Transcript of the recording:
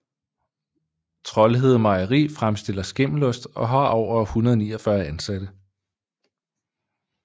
Troldhede Mejeri fremstiller skimmelost og har over 149 ansatte